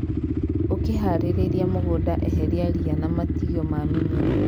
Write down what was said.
Ũkĩharĩrĩria mũgũnda eheria ria na matigio ma mĩmera.